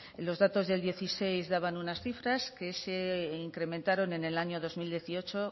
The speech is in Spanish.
los datos del dieciséis daban unas cifras que se incrementaron en el año dos mil dieciocho